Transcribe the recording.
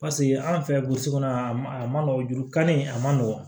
Paseke an fɛ burusi kɔnɔ a man a man nɔgɔn juru kari a man nɔgɔn